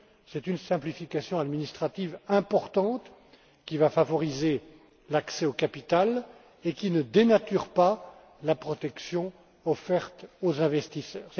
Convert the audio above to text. C'est une simplification administrative importante qui va favoriser l'accès au capital et qui ne dénature pas la protection offerte aux investisseurs.